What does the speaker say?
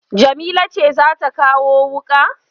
Jamila ce za ta kawo wuƙa?